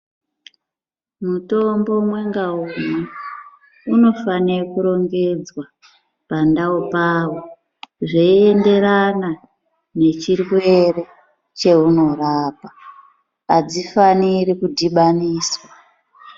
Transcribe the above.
Mitombo umwe ngaumwe unofana kurongedzwa pandau pawo zveienderana nechirwere chaunorapa , hadzofaniri kudhibaniswa.